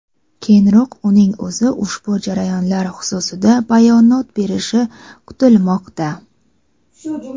Keyinroq uning o‘zi ushbu jarayonlar xususida bayonot berishi kutilmoqda.